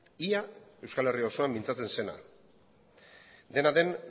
ia euskal herria osoan mintzatzen zena dena den